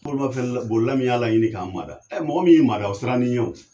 Bolimanfɛn bolila min y'a laɲini k'a mada mɔgɔ min ye mada o siran'i ɲɛ